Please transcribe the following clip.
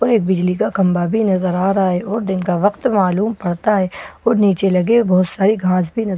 और पर एक बिजली का खंभा भी नजर आ रहा है और दिन का वक्त मालूम पड़ता है और नीचे लगे बहुत सारी घास भी नज --